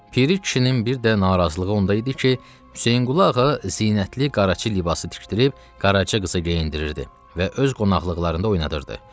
Piri kişinin bir də narazılığı onda idi ki, Hüseynqulu ağa zinətli qaraçı libası tikdirib Qaraca qıza geyindirirdi və öz qonaqlıqlarında oynadırdı.